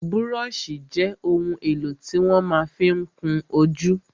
Búróṣì jẹ́ ohun èlò tí wọ́n ma fí ń kún ojú.